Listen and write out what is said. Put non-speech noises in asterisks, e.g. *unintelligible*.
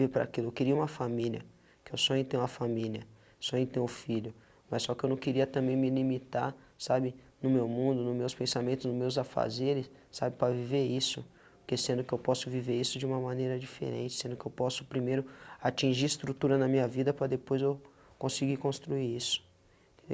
*unintelligible* aquilo, eu queria uma família, que eu sonho em ter uma família, sonho em ter um filho, mas só que eu não queria também me limitar, sabe, no meu mundo, no meus pensamentos, no meus afazeres, sabe, para viver isso, porque sendo que eu posso viver isso de uma maneira diferente, sendo que eu posso primeiro atingir estrutura na minha vida para depois eu conseguir construir isso.